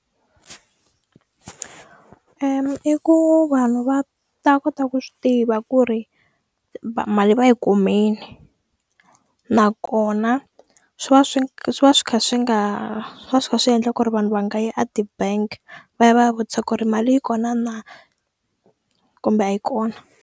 Eya, i ku vanhu va ta kota ku swi tiva ku ri mali va yi kumini nakona swi va swi swi va swi kha swi nga va swi kha swi endla ku ri vanhu va nga yi a ti-bank-i va ya va ya vutisa ku ri mali yi kona na kumbe a yi kona.